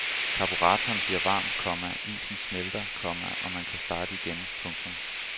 Karburatoren bliver varm, komma isen smelter, komma og man kan starte igen. punktum